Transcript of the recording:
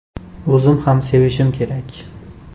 O‘zim ham sevishim kerak.